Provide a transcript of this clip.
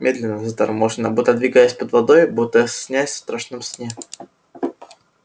медленно заторможенно будто двигаясь под водой будто снясь в страшном сне